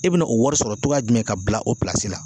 E bɛna o wari sɔrɔ togoya jumɛn k'a bila o la?